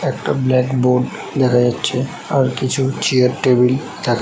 একটা black board দেখা যাচ্ছে আর কিছু চেয়ার টেবিল দেখা--